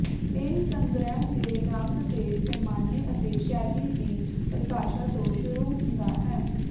ਇਹ ਸੰਗ੍ਰਹਿ ਦੇ ਰੰਗ ਦੇ ਪੈਮਾਨੇ ਅਤੇ ਸ਼ੈਲੀ ਦੀ ਪਰਿਭਾਸ਼ਾ ਤੋਂ ਸ਼ੁਰੂ ਹੁੰਦਾ ਹੈ